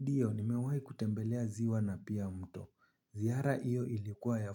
NDio, ni mewahi kutembelea ziwa na pia mto. Ziara iyo ilikuwa ya